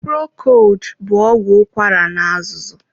Procold bụ ọgwụ ụkwara na-azụzu.